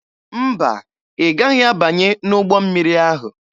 Mba, ị gaghị abanye n'ụgbọ mmiri ahụ.